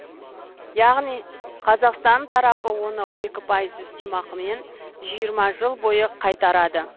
яғни қазақстан тарапы оны екі пайыз үстемақымен жиырма жыл бойы қайтарады